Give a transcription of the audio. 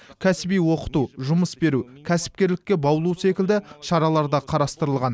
кәсіби оқыту жұмыс беру кәсіпкерлікке баулу секілді шаралар да қарастырылған